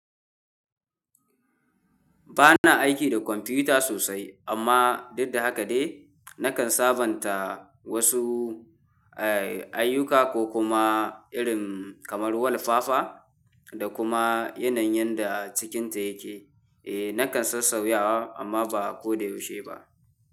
Ba na aiki da kwamfuta sosai amma duk da haka dai na kan sabanta wasu, eh, ayuka ko kuma irin kamar wulfafa da kuma yanayin da cikinta yake. E, na kan sassauya amma ba ko da yaushe ba.